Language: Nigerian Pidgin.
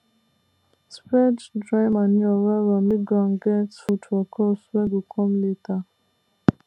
spread dry manure wellwell make ground get food for crops wey go come later